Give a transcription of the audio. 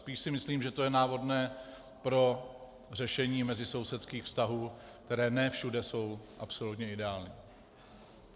Spíš si myslím, že to je návodné pro řešení mezisousedských vztahů, které ne všude jsou absolutně ideální.